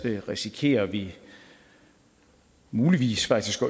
risikerer vi muligvis faktisk